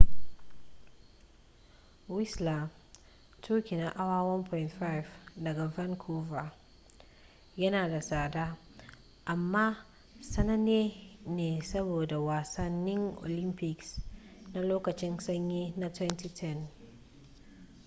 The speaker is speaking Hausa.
whistler tuki na awa 1.5 daga vancouver yana da tsada amma sananne ne saboda wasannin olympics na lokacin sanyi na 2010